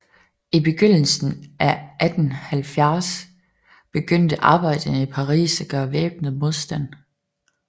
I begyndelsen af 1870 begyndte arbejderne i Paris at gøre væbnet modstand